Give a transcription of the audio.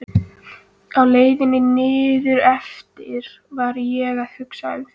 Á leiðinni niðureftir var ég að hugsa um þig.